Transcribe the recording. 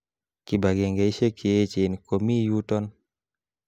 Kibagengeishiek che echen ko mi yuton